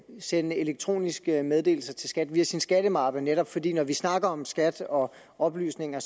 sende elektroniske meddelelser til skat via sin skattemappe netop fordi det når vi snakker om skat og oplysninger